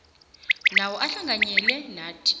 nawo ahlanganyele nathi